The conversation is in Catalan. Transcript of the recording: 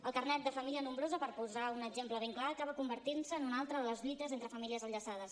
el carnet de família nombrosa per posar un exemple ben clar acaba convertint se en una altra de les lluites entre famílies enllaçades